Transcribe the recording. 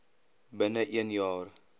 binne een jaar